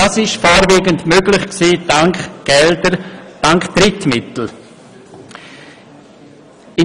Das wurde jedoch vorwiegend durch Drittmittel möglich.